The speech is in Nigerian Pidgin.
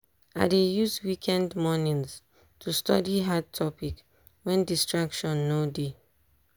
i dey use weekend mornings to study hard topic wen distraction no dey.